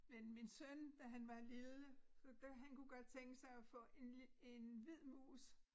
Men min søn da han var lille da han kunne godt tænke sig at få en en hvid mus